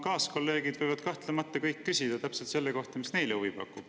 Kaaskolleegid võivad kahtlemata kõik küsida täpselt selle kohta, mis neile huvi pakub.